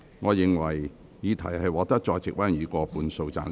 我認為議題獲得在席委員以過半數贊成。